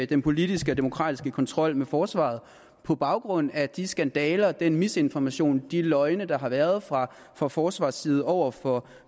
den politiske og demokratiske kontrol med forsvaret på baggrund af de skandaler og den misinformation og de løgne der har været fra fra forsvarets side over for